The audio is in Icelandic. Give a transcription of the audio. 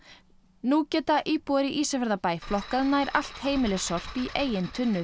nú geta íbúar í Ísafjarðarbæ flokkað nær allt heimilissorp í eigin tunnur